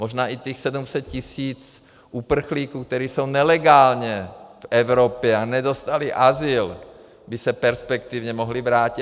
Možná i těch 700 tisíc uprchlíků, kteří jsou nelegálně v Evropě a nedostali azyl, by se perspektivně mohlo vrátit.